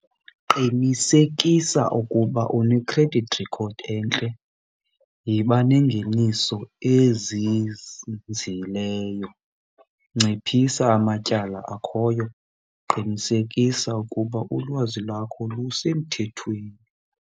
Qinisekisa ukuba une-credit record entle, yiba nengeniso ezinzileyo, nciphisa amatyala akhoyo, qinisekisa ukuba ulwazi lwakho lusemthethweni.